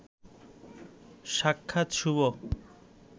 সাক্ষাৎ শুভ